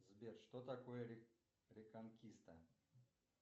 сбер что такое реконкиста